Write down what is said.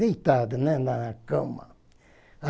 Deitado, né, na cama.